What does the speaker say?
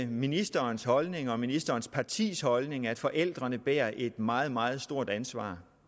ministerens holdning og ministerens partis holdning at forældrene bærer et meget meget stort ansvar